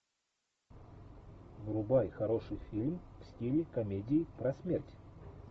врубай хороший фильм в стиле комедии про смерть